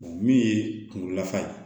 min ye kunkolo lafa ye